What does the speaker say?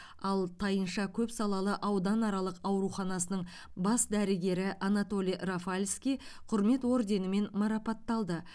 ал тайынша көпсалалы ауданаралық ауруханасының бас дәрігері анатолий рафальский құрмет орденімен марапатталды